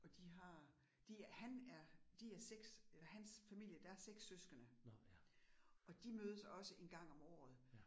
Og de har de, han er de er 6, hans familie der 6 søskende, og de mødes også 1 gang om året